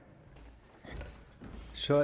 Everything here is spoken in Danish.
så